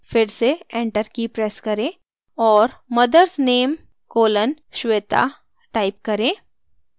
फिर से enter की press करें और mothers name colon shweta type करें